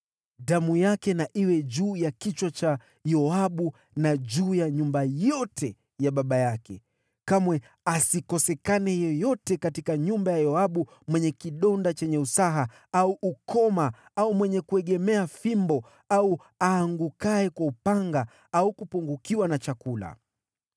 Damu yake na iwe juu ya kichwa cha Yoabu na juu ya nyumba yote ya baba yake! Kamwe asikosekane yeyote katika nyumba ya Yoabu mwenye kidonda chenye usaha, au ukoma au mwenye kuegemea fimbo au aangukaye kwa upanga au kupungukiwa na chakula.”